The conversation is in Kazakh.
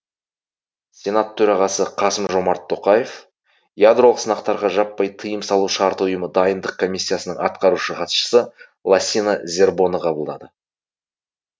сенат төрағасы қасым жомарт тоқаев ядролық сынақтарға жаппай тыйым салу шарты ұйымы дайындық комиссиясының атқарушы хатшысы лассина зербоны қабылдады